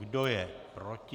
Kdo je proti?